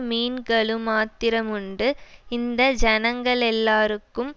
மீன்களுமாத்திரமுண்டு இந்த ஜனங்களெல்லாருக்கும்